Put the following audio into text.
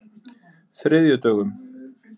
þriðjudögum